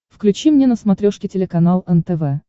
включи мне на смотрешке телеканал нтв